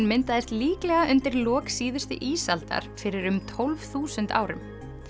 myndaðist líklega undir lok síðustu ísaldar fyrir um tólf þúsund árum